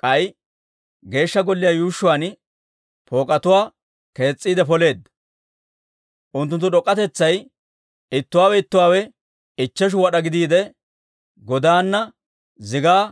K'ay Geeshsha Golliyaa yuushshuwaan pook'etuwaa kees's'iide poleedda; unttunttu d'ok'k'atetsay ittuwaawe ittuwaawe ichcheshu wad'aa gidiide, godaana zigaa